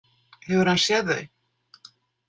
Hefur hann séð þau?